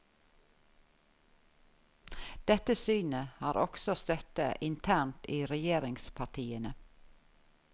Dette synet har også støtte internt i regjeringspartiene.